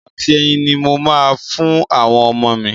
Dodo àti ẹyin ni mo máa fún àwọn ọmọ mi.